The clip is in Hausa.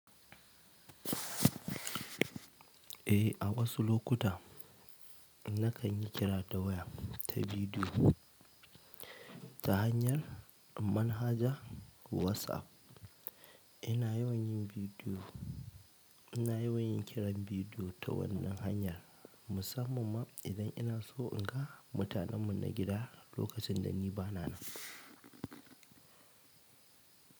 Eh, a wasu lokuta na kan yi kira ta waya ta bidiyo ta hanyar manhajar WhatsApp. Ina yawan yin kira bidiyo ta wannan hanya musamman ma idan ina so in ga mutanen mu na gida lokacin da ni ba na nan.